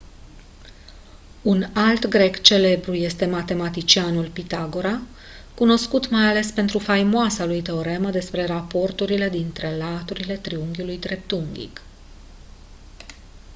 un alt grec celebru este matematicianul pitagora cunoscut mai ales pentru faimoasa lui teoremă despre raporturile dintre laturile triunghiului dreptunghic